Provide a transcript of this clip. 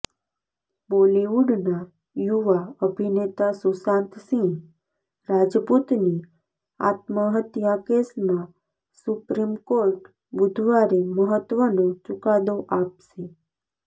બોલીવૂડના યુવા અભિનેતા સુશાંત સિંહ રાજપૂતની આત્મહત્યા કેસમાં સુપ્રીમ કોર્ટ બુધવારે મહત્વનો ચુકાદો આપશે